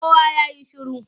Kowa ya yi shiru!